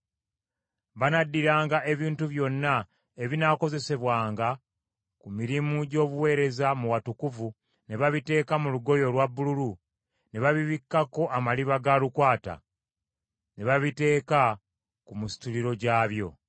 “Banaddiranga ebintu byonna ebinaakozesebwanga ku mirimu gy’obuweereza mu watukuvu ne babiteeka mu lugoye olwa bbululu ne babibikkako amaliba ga lukwata, ne babiteeka ku misituliro gyabyo.